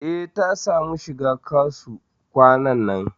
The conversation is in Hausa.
E, ta samu shiga KASU kwanan nan.